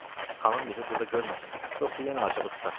Xanım bizi burda görməsin, yoxsa yenə acığı tutar.